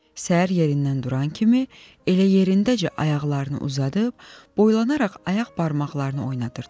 Səhər yerindən duran kimi, elə yerindəcə ayaqlarını uzadıb, boylanaraq ayaq barmaqlarını oynadırdı.